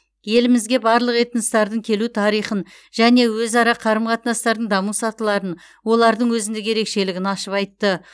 елімізге барлық этностардың келу тарихын және өзара қарым қатынастардың даму сатыларын олардың өзіндік ерекшелігін ашып айтты